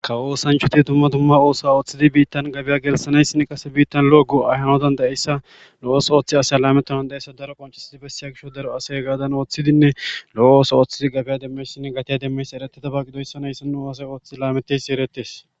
Kawo osanchuti dumma dumma ooso ooththidi biittan gabiya gelsanayssin qase biittan lo7o go ayhanotan da7eyssa lo7os ooththi asya lametanan da7eyssa daro qoncisidi bessiya gisho daro asey gaadan ooththidinne lo7o ooso ooththidi gabiya demmesinne gatiya demmeysi ereteta ba qidoyssanayssi nu haasey ooththi laameteysi eretes.